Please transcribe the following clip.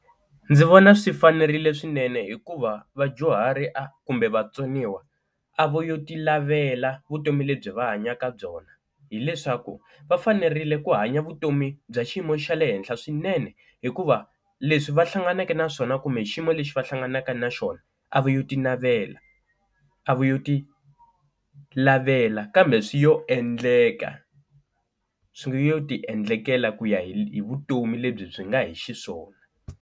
Ndzi vona swi fanerile swinene hikuva vadyuhari a kumbe vatsoniwa a vo yo ti lavela vutomi lebyi va hanyaka byona hileswaku va fanerile ku hanya vutomi bya xiyimo xa le henhla swinene, hikuva leswi va hlanganeke na swona kumbe xiyimo lexi va hlanganaka na xona a va yo ti navela a va yo ti lavela kambe swi yo endleka swi yo tiendlekela ku ya hi vutomi lebyi byi nga hi xiswona.